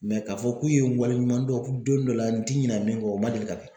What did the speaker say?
k'a fɔ k'u ye wale ɲuman dɔn don dɔ la n ti ɲinɛn min kɔ o man deli ka kɛ.